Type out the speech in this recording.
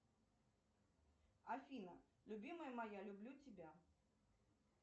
афина любимая моя люблю тебя